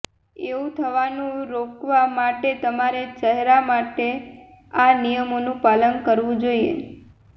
એવું થવાનું રોકવા માટે તમારે ચહેરા માટે આ નિયમોનું પાલન કરવું જોઈએ